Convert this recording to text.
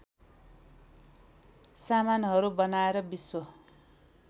सामानहरू बनाएर विश्व